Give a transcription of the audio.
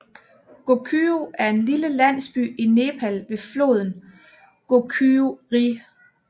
Gokyo er en lille landsby i Nepal ved foden af Gokyo Ri